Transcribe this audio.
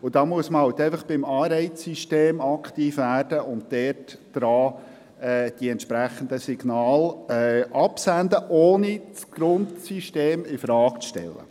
Dabei muss man beim Anreizsystem aktiv werden und die entsprechenden Signale aussenden, ohne das Grundsystem infrage zu stellen.